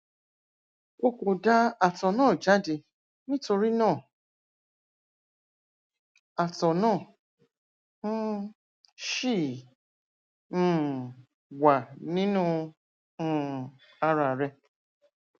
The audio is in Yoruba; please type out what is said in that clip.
o kò da àtọ náà jáde nítorí náà àtọ náà um ṣì um wà nínú um ara rẹ